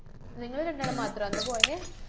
നിങ്ങള് രണ്ടാളും മാത്രാ അന്ന് പോയെ?